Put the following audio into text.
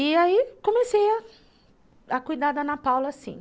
E aí comecei a a cuidar da Ana Paula, assim.